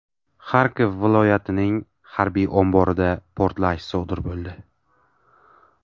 Xarkov viloyatining harbiy omborida portlash sodir bo‘ldi .